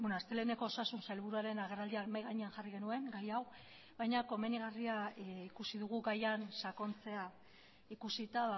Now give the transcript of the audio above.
asteleheneko osasun sailburuaren agerraldian mahai gainean jarri genuen gai hau baina komenigarria ikusi dugu gaian sakontzea ikusita